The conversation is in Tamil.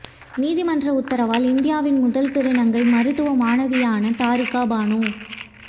நீதிமன்ற உத்தரவால் இந்தியாவின் முதல் திருநங்கை மருத்துவ மாணவியான தாரிகா பானு